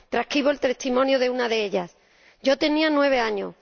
Transcribo el testimonio de una de ellas Yo tenía nueve años.